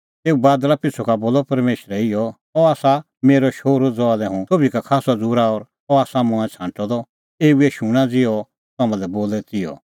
तेऊ बादल़ा पिछ़ू का बोलअ परमेशरै इहअ अह आसा मेरअ शोहरू ज़हा लै हुंह सोभी का खास्सअ झ़ूरा और अह आसा मंऐं छ़ांटअ द एऊए शूणां ज़िहअ अह तम्हां लै बोले तिहअ